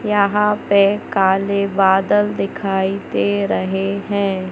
यहां पे काले बादल दिखाई दे रहे हैं।